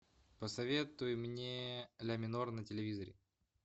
посоветуй мне ля минор на телевизоре